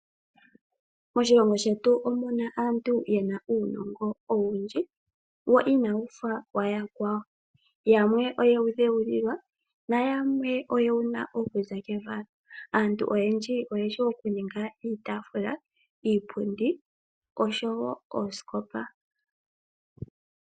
Moshilongo shetu omuna aantu yena uunongo owundji, wo inawu fa wayakwawo. Yamwe oye wu dhewulilwa na yamwe oyewuna okuza kevalo. Aantu oyendji oyeshi okuninga iitaafula iipundi oshowo oosikopa.